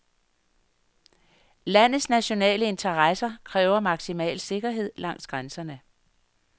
Landets nationale interesser kræver maksimal sikkerhed langs grænserne.